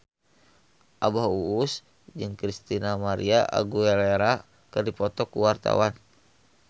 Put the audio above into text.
Abah Us Us jeung Christina María Aguilera keur dipoto ku wartawan